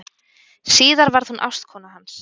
Síðar varð hún ástkona hans.